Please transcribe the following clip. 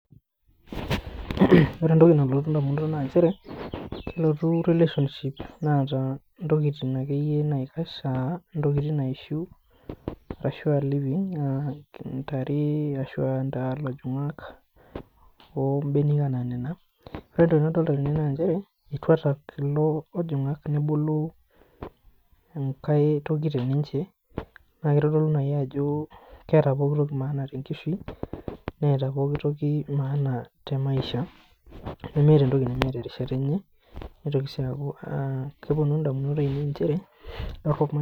Ore entoki nalotu indamunot naa nchere, elotu relationship naata intokiting' akeyie naikash, intokiting' naishu ashu living, ntare, ilojong'ak, o mbenek enaa nena. Ore entoki nadolita tene naa nchere, etwata kulo ojong'ak nebulu enkae toki teninche. Naa kitodolu naai ajo etaa pookitoki maana tenkishui neeta pookitoki maana te maisha nemeeta entoki neemeta erishata enye neitoki sii aaku kepwonu indamunot ainei nchere